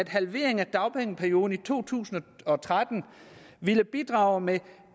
halvering af dagpengeperioden i to tusind og tretten ville bidrage med